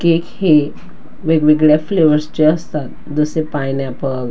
cake हे वेगवेगळ्या फ्लेवरचे असतात जसे पायनॅपल --